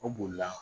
O bolila